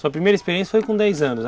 Sua primeira experiência foi com dez anos.